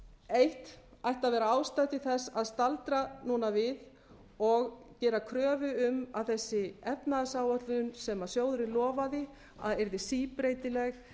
eitt ætti að vera ástæða til þess að staldra núna við og gera kröfu um að þessi efnahagsáætlun sem sjóðurinn lofaði að yrði síbreytileg